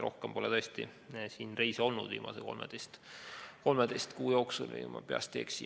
Rohkem pole mul tõesti viimase 13 kuu jooksul reise olnud, kui ma ei eksi.